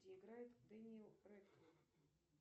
где играет дэниэл рэдклифф